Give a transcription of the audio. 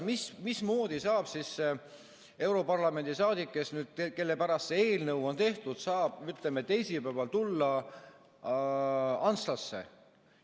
Mismoodi siis saab see europarlamendi liige, kelle pärast see eelnõu on tehtud, ütleme, teisipäeval tulla Antslasse?